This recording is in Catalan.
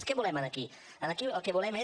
què volem aquí aquí el que volem és